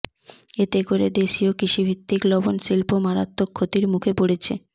এতে করে দেশীয় কৃষিভিত্তিক লবণ শিল্প মারাত্মক ক্ষতির মুখে পড়েছে